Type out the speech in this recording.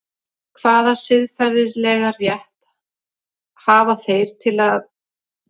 Hvaða siðferðilega rétt hafa þeir til eigna foreldra sinna?